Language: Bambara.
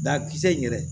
Dakisɛ in yɛrɛ